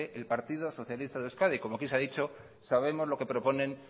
el partido socialista de euskadi como aquí se ha dicho sabemos lo que proponen